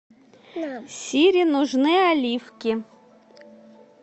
сири нужны оливки